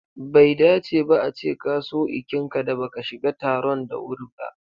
Bai dace ba a ce ka so ikinka da baka shiga taron da wuri ba.